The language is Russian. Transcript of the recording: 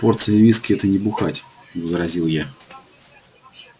порция виски это не бухать возразил я